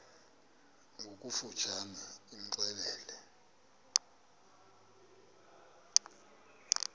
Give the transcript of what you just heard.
ngokofu tshane imxelele